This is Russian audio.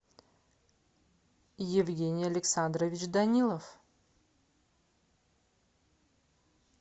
евгений александрович данилов